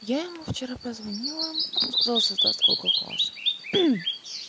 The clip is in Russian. я ему вчера позвонила он сказал создаст коко класс